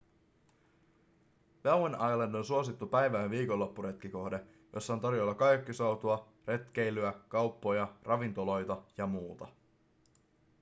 bowen island on suosittu päivä- ja viikonloppuretkikohde jossa on tarjolla kajakkisoutua retkeilyä kauppoja ravintoloita ja muuta